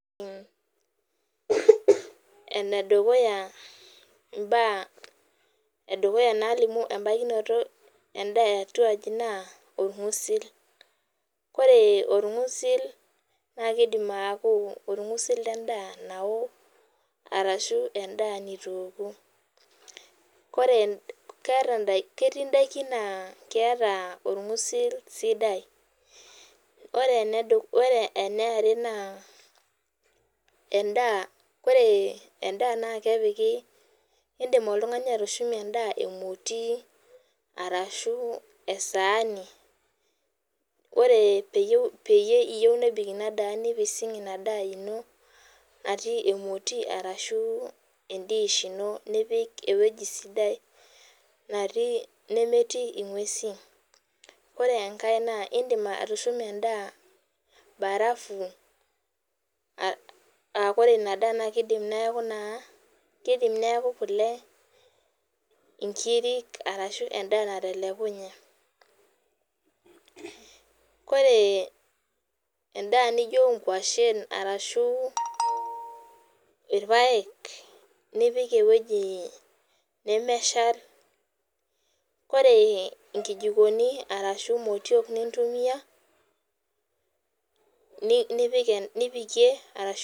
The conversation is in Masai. Enedukuya imbaa edukuya nalimu ebakinoto endaa eatua aji naa orng'usil. Ore orng'usil na kidim aku orng'usil ledaa nao, arashu endaa nitu eoku. Ore ketii daikin naa keeta orng'usil sidai. Ore enaare naa, endaa ore endaa na kepiki indim oltung'ani atushumie endaa emoti, arashu esaani. Ore peyie iyieu nebik inadaa nipising' inadaa ino, natii emoti arashu e dish nipik ewueji sidai natii nemetii ing'uesin. Ore enkae naa idim atushuma endaa barafu, ah kore inadaa na kidim neeku naa kidim neeku kule, inkirik arashu endaa natelekunye. Ore endaa nijo inkwashen arashu irpaek, nipik ewueji nemeshal. Kore inkijikoni arashu motiok nintumia, nipikie arashu